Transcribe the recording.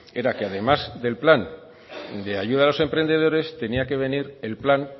era que además del plan de ayuda a los emprendedores tenía que venir el plan